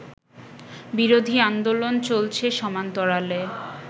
বিরোধী আন্দোলন চলছে সমান্তরালে